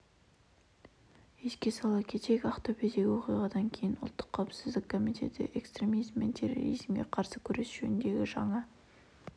еске сала кетейік ақтөбедегі оқиғадан кейін ұлттық қауіпсіздік комитеті экстремизм мен терроризмге қарсы күрес жөніндегі жаңа